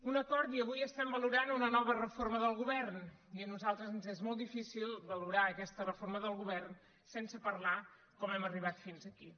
un acord i avui estem valorant una nova reforma del govern i a nosaltres ens és molt difícil valorar aquesta reforma del govern sense parlar de com hem arribat fins aquí